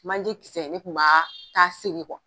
Manje kisɛ ne kun b'a t'a seri